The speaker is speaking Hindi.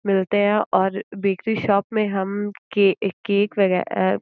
मिलते हैं और बेकरी शोप में हम के केक वगे अ --